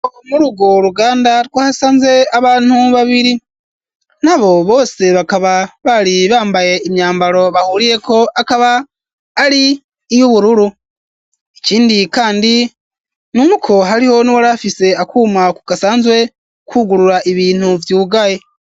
muri ugwo ruganda twahasanze abantu babiri, na bo bose bakaba bari bambaye imyambaro bahuriyeko akaba ari iy'ubururu, ikindi kandi n'uko hariho uwari afise akuma gasanzwe kugurura ibintu vyugaye.